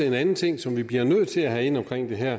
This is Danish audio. en anden ting som vi bliver nødt til at have ind omkring det her